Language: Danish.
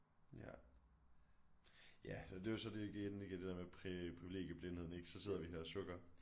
Ja ja og det er jo så det igen ik er det der med privilegieblindhed ik så sidder vi her og sukker